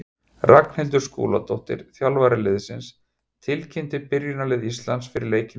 Ragnhildur Skúladóttir, þjálfari liðsins, tilkynnti byrjunarlið Íslands fyrir leikinn í dag.